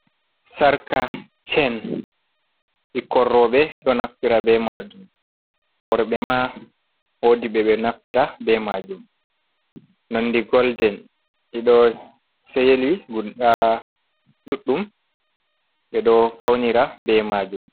Sarƙa shen ɓikkon rooɓe ɗo naftira be maajum, worɓe ma woodi ɓe ɓe naftira be maajum nonde golden, ɗiɗo seli guda ɗuɗɗum, ɓe ɗo faunira be maajum.